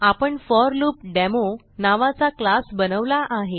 आपण फॉर्लूपडेमो नावाचा क्लास बनवला आहे